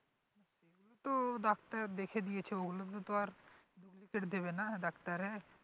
ওগুলোতো doctor দেখে দিয়েছে ওগুলোতে তো আর duplicate দেবেনা ডাক্তারে